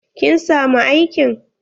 Kin samu aikin?